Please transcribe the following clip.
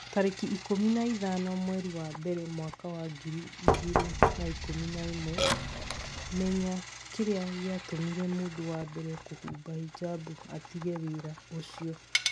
tarĩki ikũmi na ithano mweri wa mbere mwaka wa ngiri igĩrĩ na ikũmi na ĩmwe, Menya kĩrĩa gĩatũmire mũndũ wa mbere kũhumba hijab 'atige wĩra ũcio.